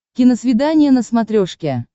киносвидание на смотрешке